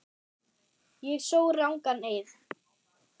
Ég sór rangan eið.